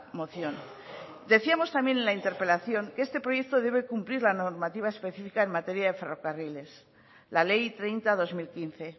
moción decíamos también en la interpelación que este proyecto debe cumplir la normativa específica en materia de ferrocarriles la ley treinta barra dos mil quince